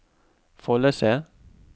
Follese